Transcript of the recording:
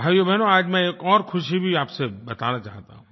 भाइयो और बहनों आज मैं एक और ख़ुशी की बात भी आप से बताना चाहता हूँ